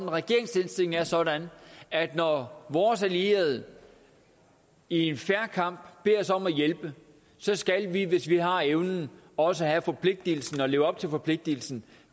og regeringens indstilling er sådan at når vores allierede i en fair kamp beder os om at hjælpe skal vi hvis vi har evnen også have forpligtelsen og leve op til forpligtelsen